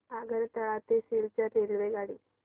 आगरतळा ते सिलचर रेल्वेगाडी